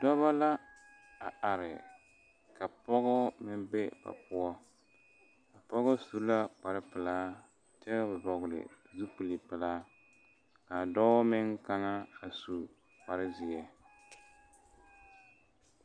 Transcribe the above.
Dɔba la a are ka pɔgɔ meŋ be ba poɔ a pɔgɔ su la kpar pelaa kyɛ vɔgele zupili pelaa a dɔɔ meŋ kaŋa a su kpar zeɛ